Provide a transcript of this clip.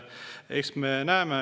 Eks me näeme.